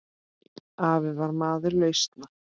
Afi var maður lausna.